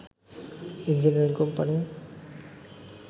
engineering company